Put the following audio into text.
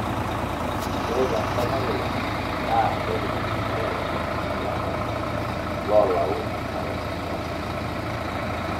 ore te nkop nalulung'a naa, ebaiki nusu oolairemok lenkop loolau enkare ekutosha